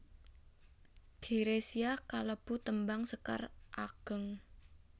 Girisa iku kalebu tembang sekar ageng